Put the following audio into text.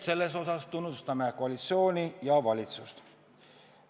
Selle eest tunnustame koalitsiooni ja valitsust.